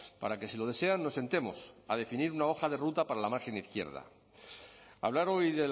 para que si lo desean nos sentemos a definir una hoja de ruta para la margen izquierda hablar hoy